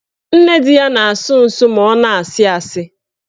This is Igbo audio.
Nne di ya na-asụ nsụ ma ọ na-asị asị